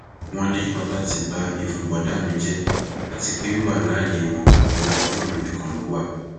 wọn ní ọtá ti ba ìfun bọdà mi jẹ àti pé wíwà láàyè wọn ọwọ ọlọrun nìkan ló wà